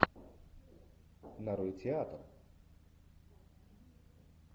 нарой театр